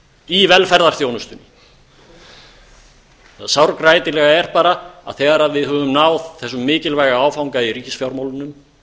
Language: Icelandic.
í velferðarþjónustu það sárgrætilega er bara að þegar við höfum náð þessum mikilvæga áfanga í ríkisfjármálunum